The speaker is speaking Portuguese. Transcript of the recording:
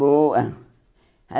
Boa.